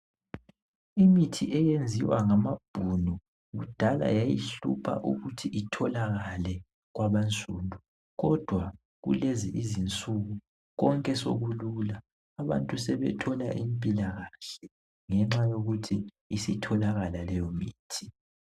Imithi eyenziwa ngamabhunu kudala yayihlupha ukuthi itholakale kwabansundu kodwa kulezi izinsuku konke sokulula abantu sebethola impilakahle ngenxa yokuthi isitholakala leyomithi.